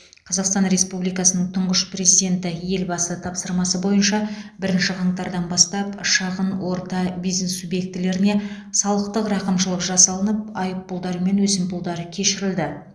қазақстан республикасының тұңғыш президенті елбасы тапсырмасы бойынша бірінші қаңтардан бастап шағын орта бизнес субъектілеріне салықтық рақымшылық жасалынып айыппұлдар мен өсімпұлдар кешірілді